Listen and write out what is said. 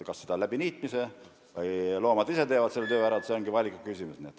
Kas niitmisega või teevad loomad ise selle töö ära, see ongi valiku küsimus.